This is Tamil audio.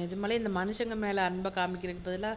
நிஜமாவே இந்த மனுசங்க மேல அன்பை காமிக்கிறதுக்கு பதிலா